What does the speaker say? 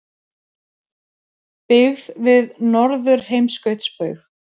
Byggð við Norðurheimskautsbaug.